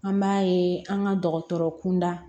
An b'a ye an ka dɔgɔtɔrɔ kunda